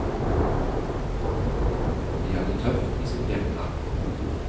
De har det tøft i sitt hjemland.